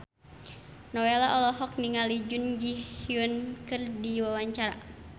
Nowela olohok ningali Jun Ji Hyun keur diwawancara